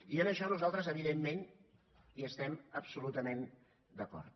i en això nosaltres evidentment hi estem absolutament d’acord